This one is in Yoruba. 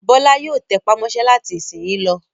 Bọ́lá yóò tẹpá mọ́ṣẹ́ láti ìsìnyín lọ.